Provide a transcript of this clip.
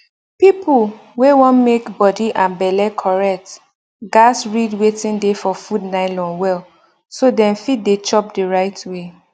people wey wan make body and belle correct gatz read wetin dey for food nylon well so dem fit dey chop the right way